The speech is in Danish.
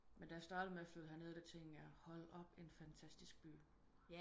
Men da jeg startede med at flytte her ned der tænkte jeg hold op en fantastisk by